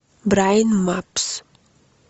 брайан мапс